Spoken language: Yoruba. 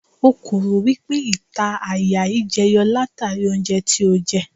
O kò rò wípé ìta àyà yí jẹ yọ látàrí oúnjẹ tí ó jẹ.